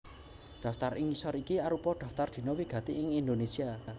Daftar ing ngisor iki arupa daftar dina wigati ing Indonésia